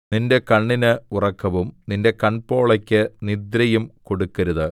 നിന്റെ കണ്ണിന് ഉറക്കവും നിന്റെ കൺപോളകൾക്ക് നിദ്രയും കൊടുക്കരുത്